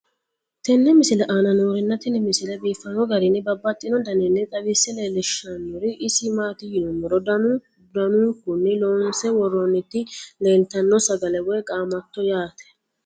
tenne misile aana noorina tini misile biiffanno garinni babaxxinno daniinni xawisse leelishanori isi maati yinummoro danu danunkunni loonsse woroonnitti leelittanno sagale woy qaamatto yaatte